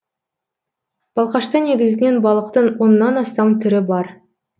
балқашта негізінен балықтың оннан астам түрі бар